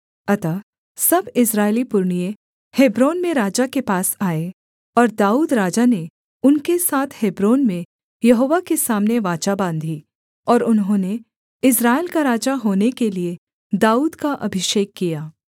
अतः सब इस्राएली पुरनिये हेब्रोन में राजा के पास आए और दाऊद राजा ने उनके साथ हेब्रोन में यहोवा के सामने वाचा बाँधी और उन्होंने इस्राएल का राजा होने के लिये दाऊद का अभिषेक किया